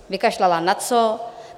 Vykašlala na co?